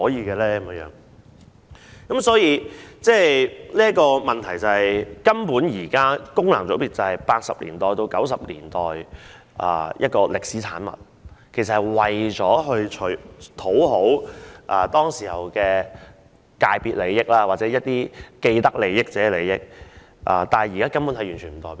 現在的問題是，功能界別根本是1980年代到1990年代的歷史產物，為討好當時的既得利益者而設，但現時根本沒有代表性。